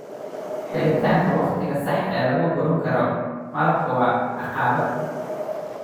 Helitaanka wakhtiga saxda ah ee lagu guran karo malabka waa caqabad.